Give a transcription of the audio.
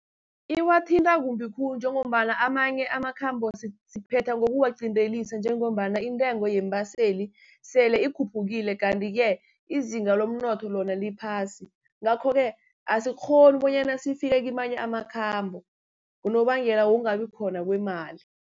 Iwathinta kumbi khulu, njengombana amanye amakhambo siphetha ngokuwaqindelisa njengombana intengo yeembaseli sele ikhuphukile. Kanti-ke izinga lomnotho lona liphasi, ngakho-ke asikghoni bonyana sifike kamanye amakhambo, ngonobangela wokungabi khona kwemali.